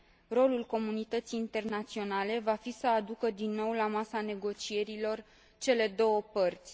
Rolul comunității internaționale va fi să aducă din nou la masa negocierilor cele două părți.